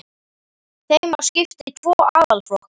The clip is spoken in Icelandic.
Þeim má skipta í tvo aðalflokka